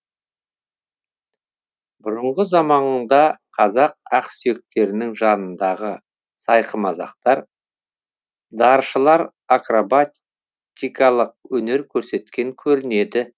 бұрынғы заманда қазақ ақсүйектерінің жанындағы сайқымазақтар даршылар акробатикалық өнер көрсеткен көрінеді